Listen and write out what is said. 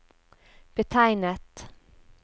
betegnet